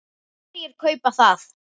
Hverjir kaupa það?